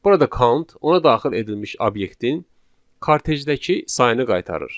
Burada count ona daxil edilmiş obyektin kartejdəki sayını qaytarır.